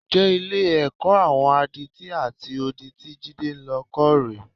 Ǹjẹ́ Ilé-ẹ̀kọ́ àwọn adití àti odi tí Jídé lọ kọ́ rè é?